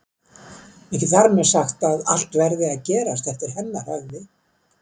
Ekki þar með sagt að allt verði að gerast eftir hennar höfði.